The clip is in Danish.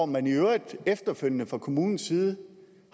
man i øvrigt efterfølgende fra kommunens side